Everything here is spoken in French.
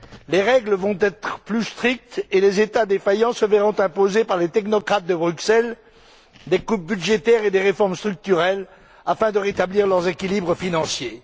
Les règles vont être plus strictes et les États défaillants se verront imposer par les technocrates de Bruxelles des coupes budgétaires et des réformes structurelles afin de rétablir leurs équilibres financiers.